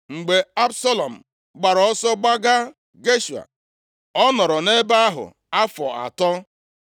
Mgbe Absalọm gbara ọsọ gbaga Geshua, ọ nọrọ nʼebe ahụ afọ atọ.